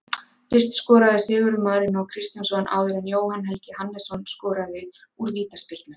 Fyrst skoraði Sigurður Marínó Kristjánsson áður en Jóhann Helgi Hannesson skoraði úr vítaspyrnu.